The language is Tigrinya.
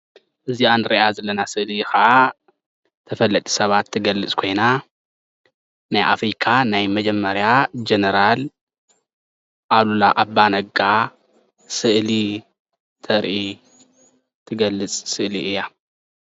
እዚአ ንሪአ ዘለና ስእሊ ከዓ ተፈለጥቲ ሰባት ትገልፅ ኮይና ናይ አፍሪካ ናይ መጀመርያ ጀነራል አሉላ አባ ነጋ ስእሊ ተርኢ ትገልፅ ስእሊ እያ ።